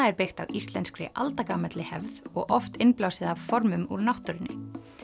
er byggt á íslenskri aldagamalli hefð og oft innblásið af formum úr náttúrunni